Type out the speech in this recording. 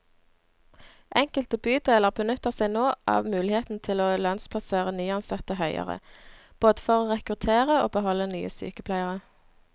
Enkelte bydeler benytter seg nå av muligheten til å lønnsplassere nyansatte høyere, både for å rekruttere og beholde nye sykepleiere.